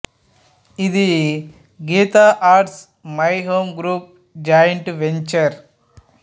ఇది Geetha Arts My Home Group joint venture